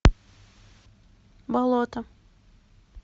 болото